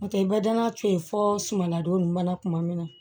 N'o tɛ i bɛ danaya to yen fɔ sumana don ɲuman na tuma min na